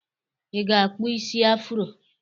I ga-akpụ isi afro!